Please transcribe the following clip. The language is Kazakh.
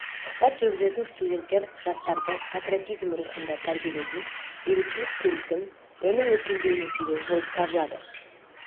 сұхбат жүргізетін студенттер жастарды патриотизм рухында тәрбиелейтін бейбітшілік келісім оның өркендеуінің себебі болып табылады